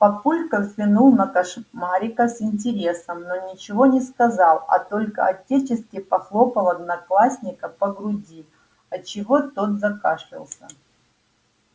папулька взглянул на кошмарика с интересом но ничего не сказал а только отечески похлопал одноклассника по груди от чего тот закашлялся